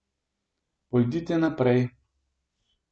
Pojdite naprej.